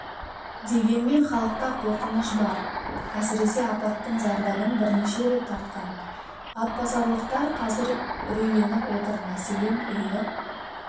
дегенмен халықта қорқыныш бар әсіресе апаттың зардабын бірнеше рет тартқан атбасарлықтар қазір үрейленіп отыр мәселен үйі